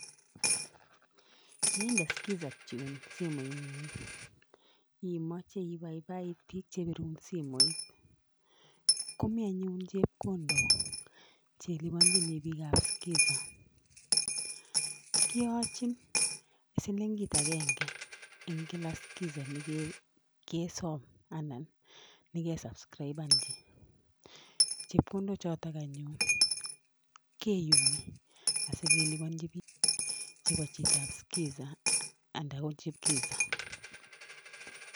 Yeinde skiza tune simoing'ung imache ibaibait biik chepirun simoit. Komi anyun chepkondok chelipanchini biikab skiza. Kiyachin silingit agenge eng kila skiza ne kesom anan neke subscribenchi. Chepkondok chotok anyun keyumi asikelipanchi bik chebo chitab skiza anan ko chikiza.